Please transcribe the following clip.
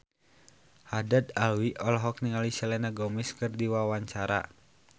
Haddad Alwi olohok ningali Selena Gomez keur diwawancara